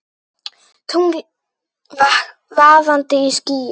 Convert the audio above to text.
Tungl vaðandi í skýjum.